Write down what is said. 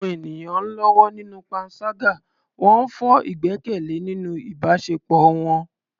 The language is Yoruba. Àwọn ènìyàn ń lọ́wọ́ nínú panṣágà, wọ́n ń fọ́ ìgbẹ́kẹ̀lé nínú ìbáṣepọ̀ wọn.